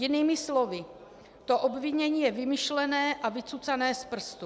Jinými slovy, to obvinění je vymyšlené a vycucané z prstu.